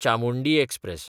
Chamundi express